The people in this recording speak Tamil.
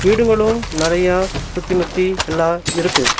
வீடுங்களு நெறையா சுத்தி முத்தி எல்லா இருக்கு.